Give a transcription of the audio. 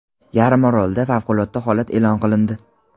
Yarimorolda favqulodda holat eʼlon qilindi.